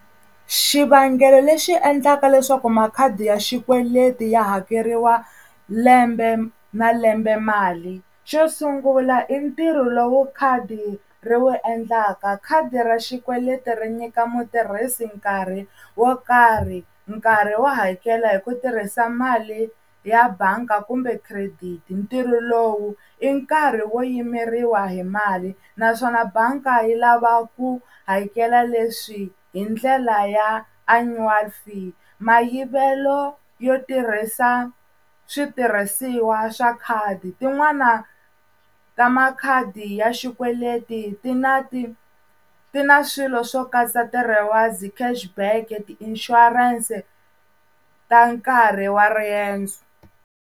Xivangelo lexi endlaka leswaku makhadi ya xikweleti ya hakeriwa lembe na lembe mali xo sungula i ntirho lowu khadi ri wu endlaka khadi ra xikweleti ri nyika mutirhisi nkarhi wo karhi nkarhi wo hakela hi ku tirhisa mali ya bangi kumbe credit ntirho lowu i nkarhi wo yimeriwa hi mali naswona banga yi lava ku hakela leswi hi ndlela ya Annual Fee mayivelo yo tirhisa switirhisiwa swa khadi tin'wana ta makhadi ya xikweleti ti na ti ti na swilo swo katsa ti-rewards, cash back, ti-insurance ta nkarhi wa riendzo.